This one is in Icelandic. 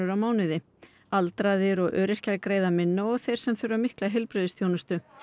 á mánuði aldraðir og öryrkjar greiða minna sem og þeir sem þurfa mikla heilbrigðisþjónustu